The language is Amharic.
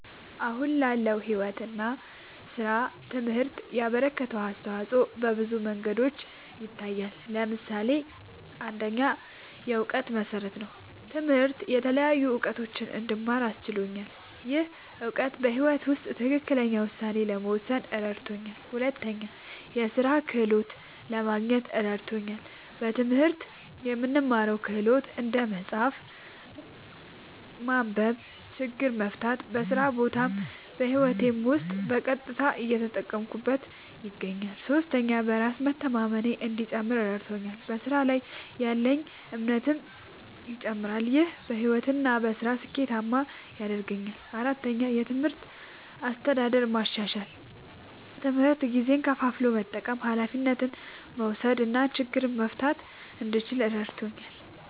አሁን ላለው ሕይወት እና ሥራ ትምህርት ያበረከተው አስተዋጾ በብዙ መንገዶች ይታያል። ምሳሌ ፩, የእውቀት መሠረት ነዉ። ትምህርት የተለያዩ እዉቀቶችን እንድማር አስችሎኛል። ይህ እውቀት በሕይወት ውስጥ ትክክለኛ ውሳኔ ለመወሰን እረድቶኛል። ፪, የሥራ ክህሎት ለማግኘት እረድቶኛል። በትምህርት የምንማረው ክህሎት (እንደ መጻፍ፣ ማንበብ፣ ችግር መፍታ) በስራ ቦታም በህይወቴም ዉስጥ በቀጥታ እየጠቀመኝ ይገኛል። ፫. በራስ መተማመኔ እንዲጨምር እረድቶኛል። በራስ ላይ ያለኝ እምነትም ይጨምራል። ይህ በሕይወት እና በሥራ ስኬት ይረዳኛል። ፬,. የሕይወት አስተዳደር መሻሻል፦ ትምህርት ጊዜን ከፋፍሎ መጠቀም፣ ኃላፊነት መውሰድ እና ችግር መፍታት እንድችል እረድቶኛል።